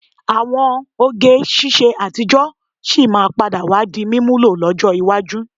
Àwọn oge ṣiṣẹ́ àtijọ́ sì máa padà wá di mímúlò lọ́jọ́ iwájú.